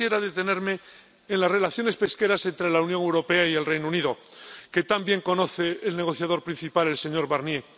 Yo quisiera detenerme en las relaciones pesqueras entre la Unión Europea y el Reino Unido, que tan bien conoce el negociador principal, el señor Barnier.